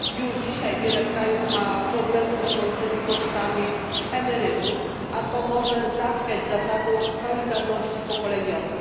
Już dzisiaj wiele krajów ma problemy z rosnącymi kosztami emerytur, a to może zachwiać zasadą solidarności pokoleniowej.